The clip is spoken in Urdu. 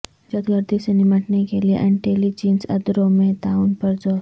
دہشت گردی سے نمٹنے کے لیے انٹیلی جنس ادروں میں تعاون پر زور